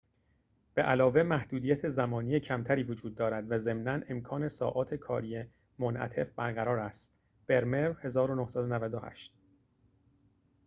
به‌علاوه، محدودیت زمانی کمتری وجود دارد و ضمناً امکان ساعات کاری منعطف برقرار است. برمر، 1998